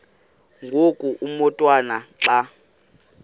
ngoku umotwana xa